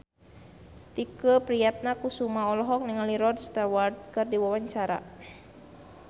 Tike Priatnakusuma olohok ningali Rod Stewart keur diwawancara